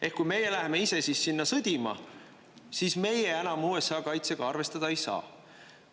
Ehk kui meie läheme ise siis sinna sõdima, siis meie enam USA kaitsega arvestada ei saa.